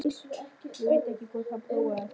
Ég veit ekki hvort hann prófaði það.